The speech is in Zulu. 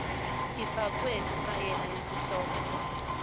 ifakwe kifayela yesihloko